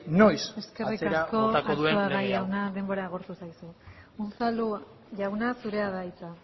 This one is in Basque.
noiz botako duen lege hau eskerrik asko arzuaga jauna denbora agortu zaizu unzalu jauna zurea da hitza